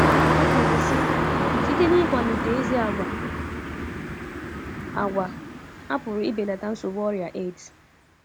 O kwuru sị, “ Site n’ịkwalite ezi àgwà,, a àgwà,, a pụrụ ibelata nsogbu ọrịa AIDS. ”